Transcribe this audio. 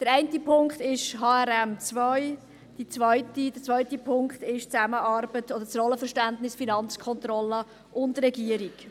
Der eine Punkt ist HRM2, der zweite Punkt ist die Zusammenarbeit und das Rollenverständnis der FK und der Regierung.